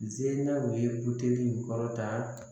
Zennaw ye buteli in kɔrɔta